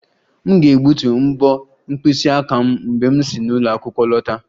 M ga-egbutu mbo mkpịsị aka m mgbe m si n'ụlọ akwụkwọ lọta